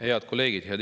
Head kolleegid!